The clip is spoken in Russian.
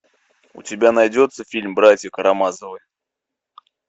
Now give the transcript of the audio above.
у тебя найдется фильм братья карамазовы